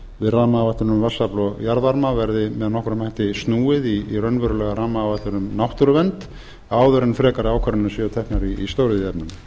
rammaáætlun um vatnsafl og jarðvarma verði með nokkrum hætti snúið í raunverulega rammaáætlun um náttúruvernd áður en frekari ákvarðanir séu teknar í stóriðjuefnum